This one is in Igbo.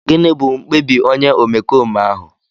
Gịnị bụ mkpebi onye omekome ahụ?